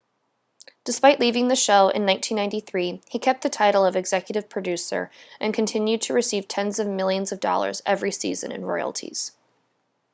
despite leaving the show in 1993 he kept the title of executive producer and continued to receive tens of millions of dollars every season in royalties